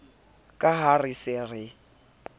ka ha re se re